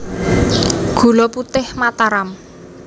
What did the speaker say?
Gula Putih Mataram